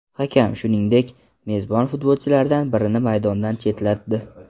Hakam, shuningdek, mezbon futbolchilardan birini maydondan chetlatdi.